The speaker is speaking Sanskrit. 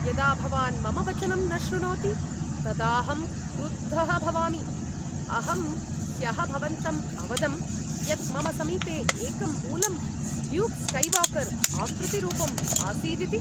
यदा भवान् मम वचनं न श्रुणोति तदाहं क्रुद्धः भवामि, अहं ह्यः भवन्तं अवदं यत् मम समीपे एकं मूलं ल्यूक् स्कैवाकर् आकृतिरूपंम् आसीदिति।